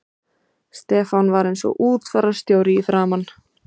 Stefán var einsog útfararstjóri í framan.